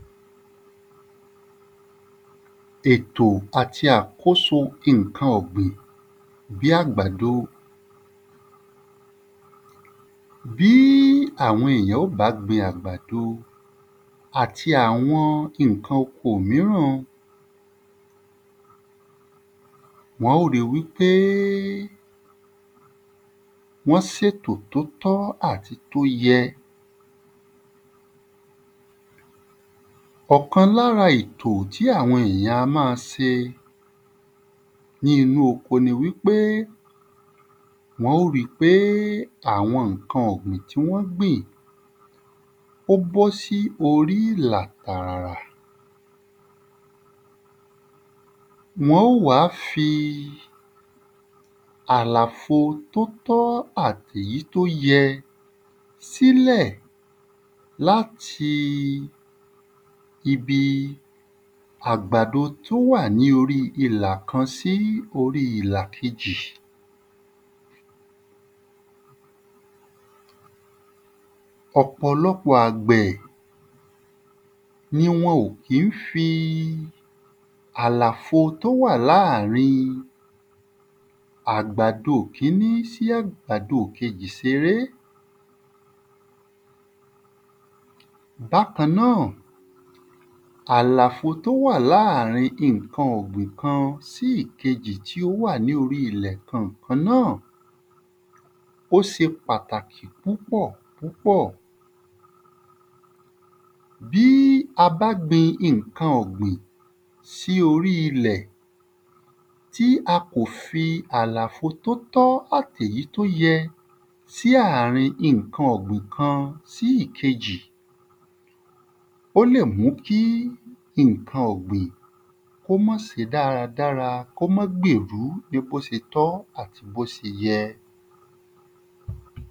Ètò àti àkóso ìnkan ọ̀gbìn bí àgbàdo Bí àwọn èyàn ó bá gbin àgbàdo àti àwọn ìnkan oko míràn o, wọ́n ó ri wí pé wọ́n sètò t’ó tọ́ àti t’ó yẹ. Ọ̀kan l'ára ètò tí àwọn èyàn a má a se ní inú oko ni wí pé wọ́n ó ri pé àwọn ǹkan ọ̀gbìn tí wọ́n ó gbin ó b’ọ́ sí orí ìlà tààrà. Wọ́n ó wá fi àlàfo t'ó tọ̀ àt'èyí t’ó yẹ s'ílẹ̀ l'áti ibi àgbàdo t'ó wà ní orí ilà kan sí orí ilà kejì Ọ̀pọ̀lọpọ̀ àgbẹ̀ ni wọn ò kí ń fi àlàfo t'ó wà láàrin àgbàdo kiní sí àgbàdo kejì s'eré. Bákan náà, àlàfo t'ó wà láàrin ìnkan ọ̀gbìn kan sí ìkejì tí ó wà ní orí ilẹ̀ kan-àn kan náà ó se pàtàkì púpọ̀ púpọ̀. Bí a bá gbin ìnkan ,ọ̀gbìn kan sí orí ilẹ̀ tí a kò fi àlàfo t'ó tọ́ àt'èyí t’ó yẹ sí àárin ìnkan ọ̀gbìn kan sí ìkejì ó lè mú kí ìnkan ọ̀gbìn k'ó má se dáradára. K'ó má gbèru ní b'ó se tọ àti b'ó se yẹ.